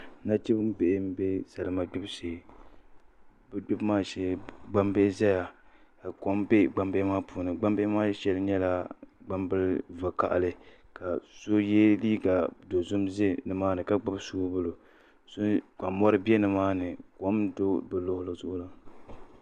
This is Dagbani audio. Nachimbihi n bɛ salima gbubi shee bi gbubi maa shee gbambihi ʒɛya ka kom bɛ gbambihi maa puuni gbambihi maa shɛli nyɛla gbambili vakaɣali ka so yɛ liiga dozim ʒɛ nimaani ka gbubi soobuli ka mori bɛ nimaani kom n do bi luɣuli zuɣu la